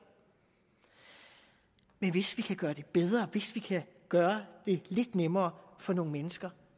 men hvis vi kan gøre det bedre hvis vi kan gøre det lidt nemmere for nogle mennesker